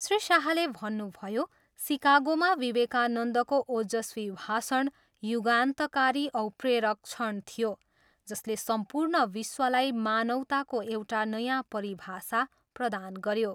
श्री शाहले भन्नुभयो, सिकागोमा विवेकानन्दको ओजस्वी भाषण युगान्तकारी औ प्रेरक क्षण थियो जसले सम्पूर्ण विश्वलाई मानिवताको एउटा नयाँ परिभाषा प्रदान गऱ्यो।